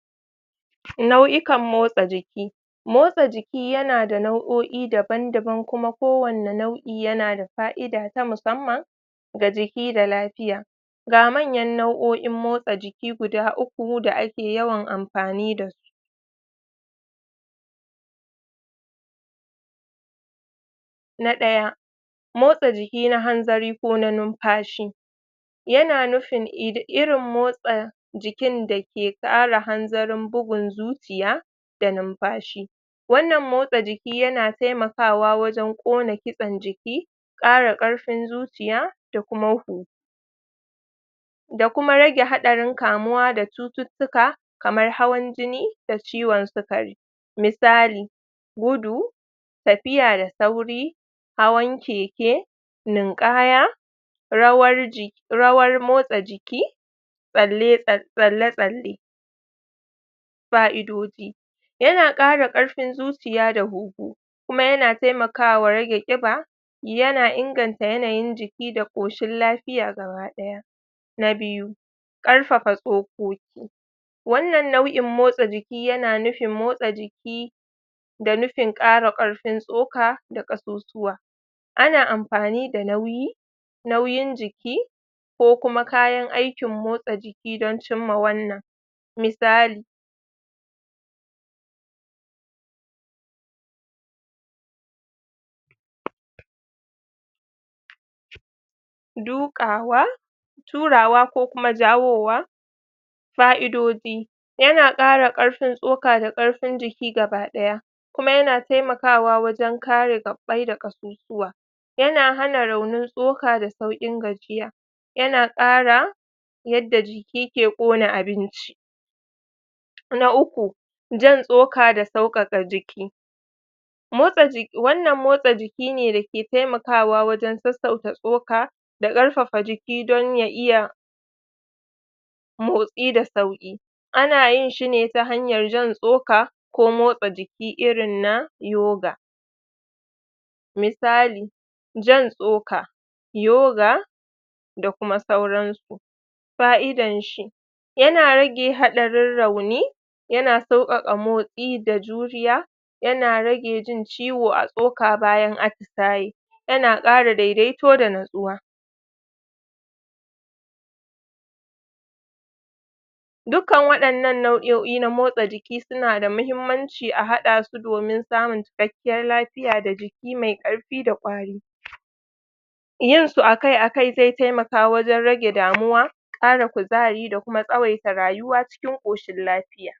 nau'ikan motsa jiki motsa jiki yana da nau'o'i daban daban kuma ko wane nau'i yana da fa'ida ta musamman ga jiki da lapiya ga manyan nau'o'in motsa jiki guda uku da ake yawan ampani dasu na ɗaya motsa jiki na hanzari ko na numfashi yana nufin id irin motsa jikin da ke ƙara hanzarin bugun zuciya da numfashi wannan motsa jiki yana taimakawa wajen ƙona kitsen jiki ƙara ƙarfin zuciya da kuma hu da kuma rage haɗarin kamuwa da cututtuka kamar hawan jini da ciwan sikari misali gudu tafiya da sauri hawan keke ninƙaya rawar ji rawar motsa jiƙi tsalle tsal tsalle tsalle fa'idoji yana ƙara ƙarfin zuciya da hunhu kuma yana taimakawa rage ƙiba yana inganta yanayin jiki da ƙoshin lafiya gaba ɗaya na biyu ƙarfafa tsokoki wannan nau'in motsa jiki yana nufin motsa jiki da nufin ƙara ƙarfin tsoka da ƙasusuwa ana ampani da nauyi nauyin jiki ko kuma kayan aikin motsa jiki don cimma wannan misali? duƙawa turawa ko kuma jawowa fa'idoji yana ƙara ƙarfin tsoka da ƙarfin jiki gaba ɗaya kuma yana taimakawa wajen kare gaɓɓai da ƙasusuwa yana hana raunin tsoka da sauƙin gajiya yana ƙara yadda jiki ke ƙona abinci na uku jan tsoka da sauƙaƙa jiki motsa ji wannan motsa jiki ne dake taimakawa wajen sassauta tsoka da ƙarfafa jiki don ya iya motsi da sauƙi ana yin shine ta hanyar jan tsoka ko motsa jiki irin na yoga misali jan tsoka yoga da kuma sauransu fa'idan shi yana rage haɗarin rauni yana sauƙaƙa motsi da juriya yana rage jin ciwo a tsoka bayan atisaye yana ƙara daidaito da natsuwa dukkan waɗannan nau'o'i na motsa jiki suna da muhimmanci a haɗa su domin samun cikakkiyar lafiya da jiki mai ƙarfi ƙwari yin su akai akai zai taimaka wajen rage damuwa ƙara kuzari da kuma tsawaita rayuwa cikin ƙoshin lafiya